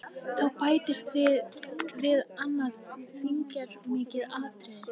Þá bætist og við annað þýðingarmikið atriði.